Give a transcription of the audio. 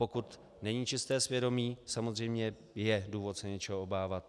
Pokud není čisté svědomí, samozřejmě je důvod se něčeho obávat.